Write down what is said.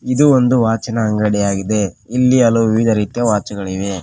ಇದು ಒಂದು ವಾಚಿನ ಅಂಗಡಿಯಾಗಿದೆ ಇಲ್ಲಿ ಹಲವು ವಿವಿಧ ರೀತಿಯ ವಾಚುಗಳಿವೆ.